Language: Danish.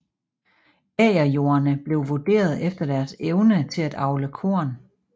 Agerjorderne blev vurderet efter deres evne til at avle korn